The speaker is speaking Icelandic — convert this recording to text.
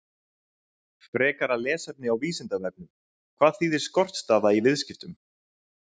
Frekara lesefni á Vísindavefnum: Hvað þýðir skortstaða í viðskiptum?